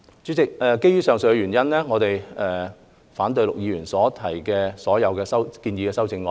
主席，基於以上原因，我們反對陸議員的所有建議修正案。